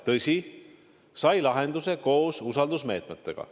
Tõsi, sai lahenduse koos usaldusmeetmetega.